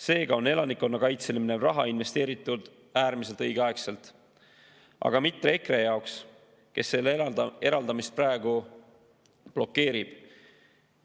Seega on elanikkonnakaitsele minev raha investeeritud äärmiselt õigeaegselt, aga mitte EKRE jaoks, kes selle eraldamist praegu blokeerib.